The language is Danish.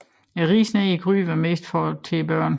Risen nede i gryden var mest for børnene